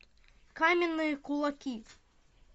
каменные кулаки